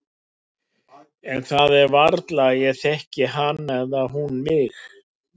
En það er varla að ég þekki hana eða hún mig.